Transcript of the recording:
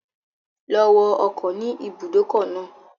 Lọ wọ ọkọ̀ ni ìbùdókọ̀ náà.